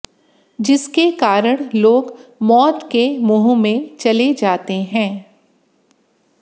जिसके कारण लोग मौत के मुंह में चले जाते है